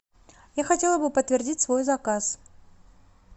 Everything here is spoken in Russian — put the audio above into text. я хотела бы подтвердить свой заказ